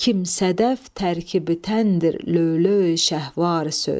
Kim sədəf tərkibi təndir löv-lövi şəhvvar söz.